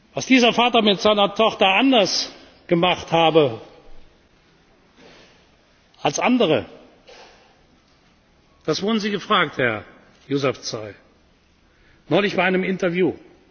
Was dieser Vater mit seiner Tochter anders gemacht habe, als andere, das wurden Sie gefragt, Herr Yousafzai, neulich bei einem Interview.